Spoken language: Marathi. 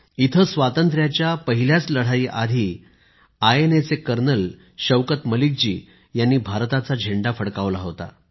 इथे स्वातंत्र्याच्या पहिल्याच लढाईआधी आयएनएच्या शौकत मलिक जी यांनी भारताचा झेंडा फडकवला होता